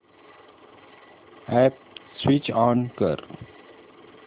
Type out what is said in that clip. app switch on कर